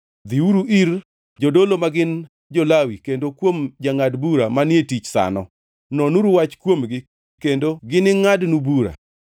Dhiuru ir jodolo magin jo-Lawi kendo kuom jangʼad bura manie tich sano. Nonuru wach kuomgi kendo gini ngʼadnu bura.